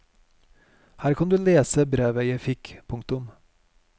Her kan du lese brevet jeg fikk. punktum